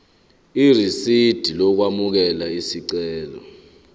irisidi lokwamukela isicelo